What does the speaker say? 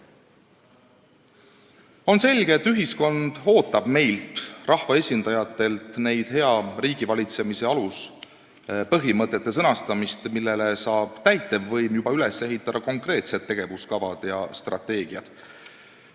On selge, et ühiskond ootab meilt, rahvaesindajatelt, hea riigivalitsemise aluspõhimõtete sõnastamist, millele saab täitevvõim üles ehitada juba konkreetsed tegevuskavad ja strateegiad.